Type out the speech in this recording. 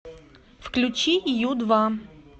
включи ю два